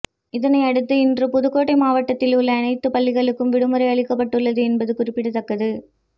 இதனையடுத்து இன்று புதுக்கோட்டை மாவட்டத்தில் உள்ள அனைத்து பள்ளிகளுக்கும் விடுமுறை அளிக்கப்பட்டுள்ளது என்பது குறிப்பிடத்தக்கது